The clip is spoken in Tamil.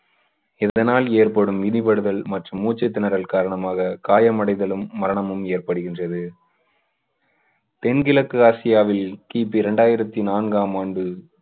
இதனால் ஏற்படும் மிதிபடுதல் மற்றும் மூச்சுத் திணறல் காரணமாக காயமடைதலும் மரணமும் ஏற்படுகின்றது. தென்கிழக்கு ஆசியாவில் கிபி இரண்டாயிரத்து நான்காம் ஆண்டு